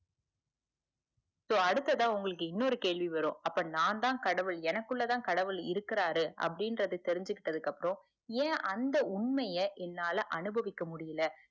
so அடுத்ததா உங்களுக்கு இன்னொரு கேள்வி வரும் நான் தான் கடவுள் எனக்குள்ள தான் கடவுள் இருக்குறாரு அப்புடிங்குரத தெரிஞ்சுக்கிட்டது அப்புறம் ஏன் அந்த உண்மைய என்னால அனுபவிக்க முடியல